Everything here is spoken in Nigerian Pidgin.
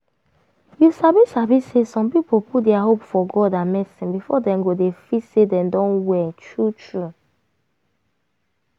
you sabi sabi say some people put dia hope for god and medicine before dem go dey feel say dem don well true true.